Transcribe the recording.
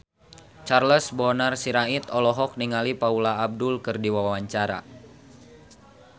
Charles Bonar Sirait olohok ningali Paula Abdul keur diwawancara